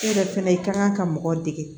Ne yɛrɛ fɛnɛ i kan ka mɔgɔ dege